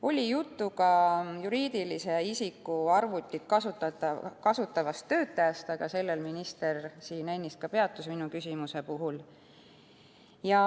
Oli juttu ka juriidilise isiku arvutit kasutavast töötajast, aga sellel minister siin ennist juba peatus minu küsimuse puhul.